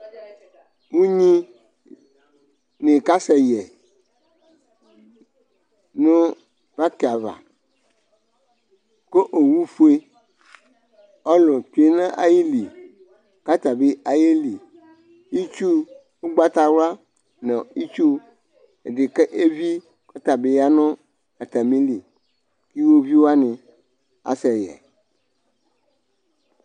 Nɩka sɛ yɛ nʋ pakɩ avaKʋ owu fue, ɔlʋ tsue nayili kata bɩ ayeliItsu ʋgbatawla nʋ itsu ɛdɩ k' evi kʋ ɔta bɩ ya nʋ atamili; iwoviu wanɩ asɛ yɛ